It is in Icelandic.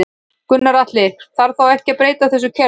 Gunnar Atli: Þarf þá ekki að breyta þessu kerfi?